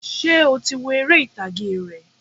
Sé o ti wo eré ìtàgé rẹ̀?